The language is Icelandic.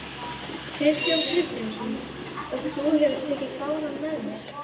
Kristján Kristjánsson: Og þú hefur tekið fánann með þér?